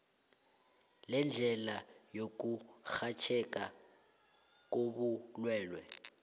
lendlela yokurhatjheka kobulwelwe